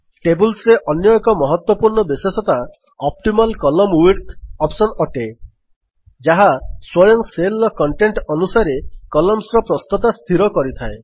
table ରେ ଅନ୍ୟ ଏକ ମହତ୍ୱପୂର୍ଣ୍ଣ ବିଶେଷତା ଅପ୍ଟିମାଲ କଲମ୍ନ ୱିଡ୍ଥ ଅପ୍ସନ୍ ଅଟେ ଯାହା ସ୍ୱୟଂ Cellର କଣ୍ଟେଣ୍ଟ୍ ଅନୁସାରେ Columnର ପ୍ରସ୍ତତା ସ୍ଥିର କରିଥାଏ